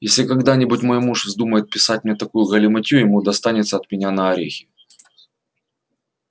если когда-нибудь мой муж вздумает писать мне такую галиматью ему достанется от меня на орехи